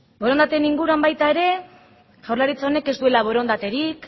borondateen inguruan baita ere jaurlaritza honek ez duela borondaterik